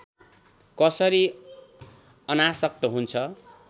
कसरी अनासक्त हुन्छ